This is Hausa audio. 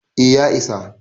eh ya isa